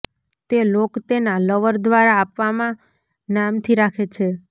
તે લોક તેના લવર દ્વારા આપવામાં નામથી રાખે છે